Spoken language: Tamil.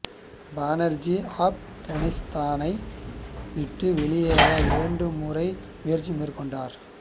பானர்ஜி ஆப்கானிஸ்தானை விட்டு வெளியேற இரண்டு முறை முயற்சி மேற்கொண்டார்